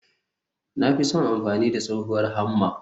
Na fi son amfani da tsohuwar Hammer.